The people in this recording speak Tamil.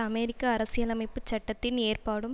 அமெரிக்க அரசியலமைப்பு சட்டத்தின் ஏற்பாடும்